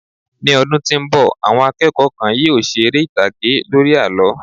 mi ọdún tí nbọ, àwọn akẹ́kọ̀ọ́ kan yíò ṣe ere itage lori àlọ